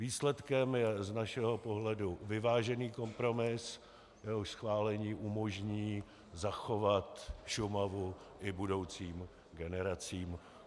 Výsledkem je z našeho pohledu vyvážený kompromis, jehož schválení umožní zachovat Šumavu i budoucím generacím.